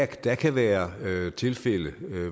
der kan være tilfælde